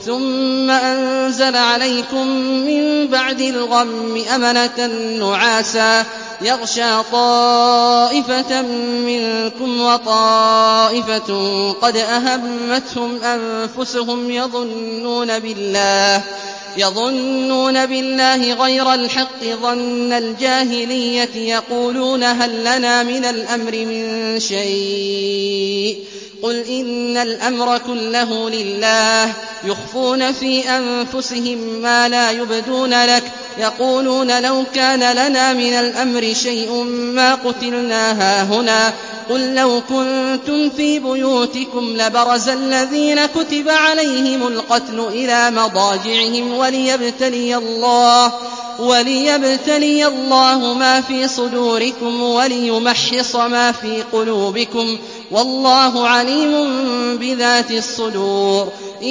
ثُمَّ أَنزَلَ عَلَيْكُم مِّن بَعْدِ الْغَمِّ أَمَنَةً نُّعَاسًا يَغْشَىٰ طَائِفَةً مِّنكُمْ ۖ وَطَائِفَةٌ قَدْ أَهَمَّتْهُمْ أَنفُسُهُمْ يَظُنُّونَ بِاللَّهِ غَيْرَ الْحَقِّ ظَنَّ الْجَاهِلِيَّةِ ۖ يَقُولُونَ هَل لَّنَا مِنَ الْأَمْرِ مِن شَيْءٍ ۗ قُلْ إِنَّ الْأَمْرَ كُلَّهُ لِلَّهِ ۗ يُخْفُونَ فِي أَنفُسِهِم مَّا لَا يُبْدُونَ لَكَ ۖ يَقُولُونَ لَوْ كَانَ لَنَا مِنَ الْأَمْرِ شَيْءٌ مَّا قُتِلْنَا هَاهُنَا ۗ قُل لَّوْ كُنتُمْ فِي بُيُوتِكُمْ لَبَرَزَ الَّذِينَ كُتِبَ عَلَيْهِمُ الْقَتْلُ إِلَىٰ مَضَاجِعِهِمْ ۖ وَلِيَبْتَلِيَ اللَّهُ مَا فِي صُدُورِكُمْ وَلِيُمَحِّصَ مَا فِي قُلُوبِكُمْ ۗ وَاللَّهُ عَلِيمٌ بِذَاتِ الصُّدُورِ